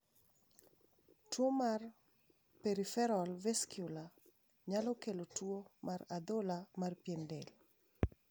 Tuo mar Peripheral vascular nyalo kelo tuo mar adhola mar pien del.